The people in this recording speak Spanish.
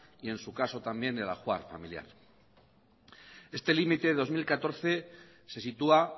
y en su caso también el ajuar familiar este límite de dos mil catorce se sitúa